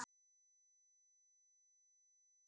Ég lærði aldrei að hjóla.